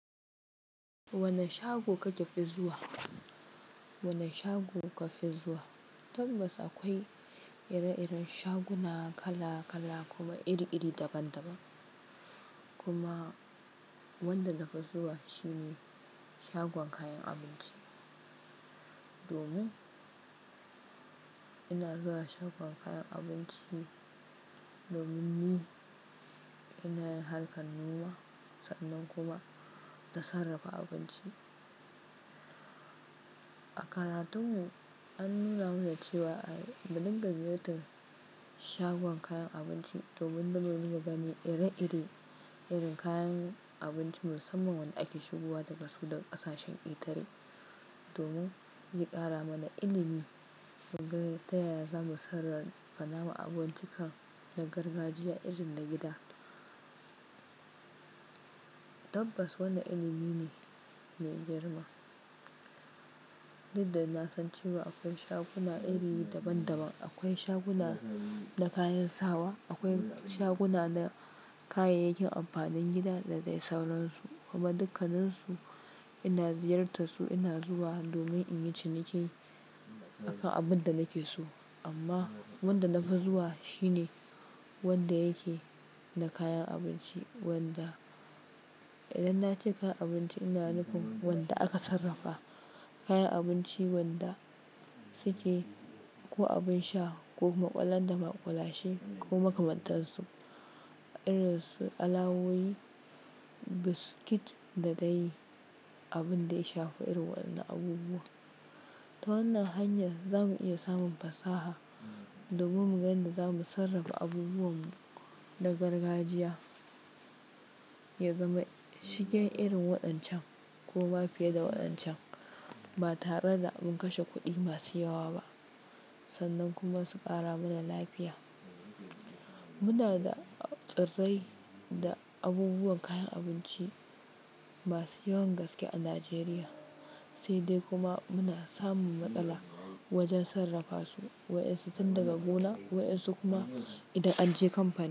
Wane shago kake fi zuwa? Wani shago kuka fizuwa? Tabbas akwai ire-iren shaguna kala-kala kuma iri-iri daban-daban. Kuma wanda na fi zuwa shi ne shagon kayan abunci. Domin ina zuwa shagon kayan abinci domin ni in nayi harkan noma sannan kuma na sarrafa abinci. A karatun mu an nuna mana cewa a mu dinga ziyartar shagon kayan abunci domin manomi ya gani ire-ire irin kayan abunci musamman wanda ake shigowa daga sudan ƙasashen ketare. Domin yi ƙara mana ilimi muga ta yaya zamu sarra fa namu abubuwan duka na gargajiya irin na gida. Tabbas wanna ilimi ne mai girma. Tunda na san cewa akwai shaguna iri daban-daban. Akwai shaguna na kayan sawa, akwai shaguna na kayayyakin amfanin gida da dai sauransu. Kuma dukkaninsu ina ziyartassu ina zuwa domin in yi ciniki a kan abun da nake so amma wanda na fi zuwa shi ne wanda yake na kayan abunci wanda idan na ce kayan abunci ina nufin wanda aka sarrafa kayan abunci wanda suke ko abun sha ko kuma kwallam da makwalashe ko makamantarsu Irin su kallawoyi buskit da dai abun da ya shafe irin wa'anan abubuwan Ta wannan hanyar zamu iya samun pasaha domin mu ga yanda zamu sarrafa abubuwan mu na gargajiya ya zama shigen irin wa'an can ko ma fiye da wa'an can ba tare da an kashe kudi masu yawa ba sannan kuma su kara mana lafiya Muna da tsirai da abubuwan kayan abunci masu yawan gaske a Najeriya sai dai kuma muna samun matsala wajen sarrafa su Waensu tun daga gona waensu kuma idan an je kampani.